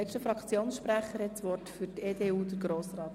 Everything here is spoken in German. Die EDU ist für eine Steuersenkung.